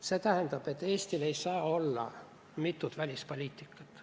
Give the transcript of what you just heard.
See tähendab, et Eestil ei saa olla mitut välispoliitikat.